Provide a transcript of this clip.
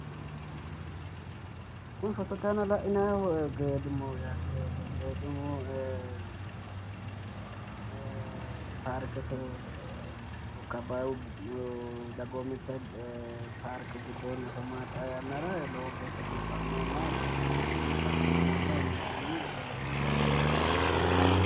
kuni fotote aana la'inannihu geedimoho yaate ee paarkete ee lokka abbaayyu dagoomitte parke giddoonni afamanno xaa yannara yaate lowo geeshsha biifannohonna itiyopiyu giddo calla afamanno yine hendanni